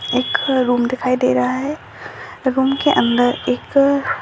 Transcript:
एक रूम दिखाई दे रहा है रूम के अंदर एक --